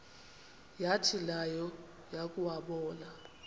yathi nayo yakuwabona